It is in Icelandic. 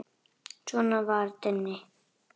Svona var Denni.